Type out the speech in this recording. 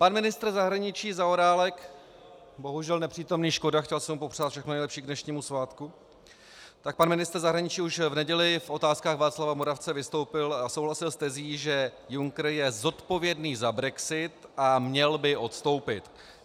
Pan ministr zahraničí Zaorálek - bohužel nepřítomný, škoda, chtěl jsem mu popřát všechno nejlepší k dnešnímu svátku - tak pan ministr zahraničí už v neděli v otázkách Václava Moravce vystoupil a souhlasil s tezí, že Juncker je zodpovědný za brexit a měl by odstoupit.